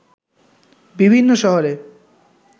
বিভিন্ন শহরে